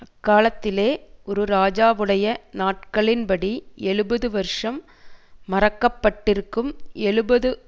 அக்காலத்திலே ஒரு ராஜாவுடைய நாட்களின்படி எழுபது வருஷம் மறக்கப்பட்டிருக்கும் எழுபது